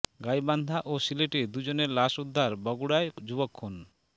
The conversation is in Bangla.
গাইবান্ধা ও সিলেটে দুজনের লাশ উদ্ধার বগুড়ায় যুবক খুন